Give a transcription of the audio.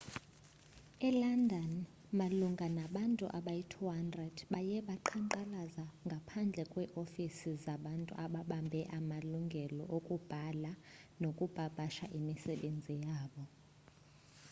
elondon malunga nabantu abayi-200 baye baqhankqalaza ngaphandle kweeofisi zabantu ababambe amalungelo okubhala nokupapasha imisebenzi yabo